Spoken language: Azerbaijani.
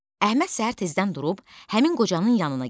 Əhməd səhər tezdən durub həmin qocanın yanına getdi.